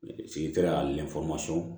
Sigi kɛra ani